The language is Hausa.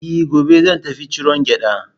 E, gobe zan tafi ciron gyaɗa.